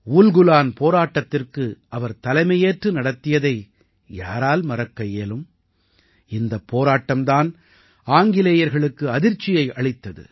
உல்குலான் போராட்டத்திற்கு அவர் தலைமையேற்று நடத்தியதை யாரால் மறக்க இயலும் இந்தப் போராட்டம் தான் ஆங்கிலேயர்களுக்கு அதிர்ச்சியை அளித்தது